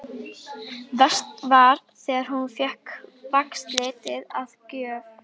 Verst var þegar hún fékk vaxliti að gjöf.